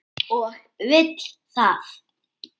Og vill það.